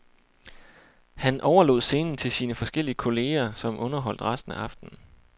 Han overlod scenen til sine forskellige kolleger, som underholdt resten af aftenen.